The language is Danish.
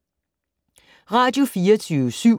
Radio24syv